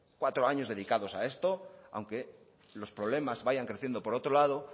cuatro años dedicados a esto aunque los problemas vayan creciendo por otro lado